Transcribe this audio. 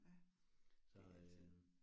Ja, det altid